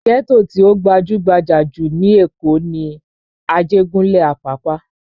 Ghetto tí ó gbajú-gbajà jù lékòó ti ní Ajegunle Apapa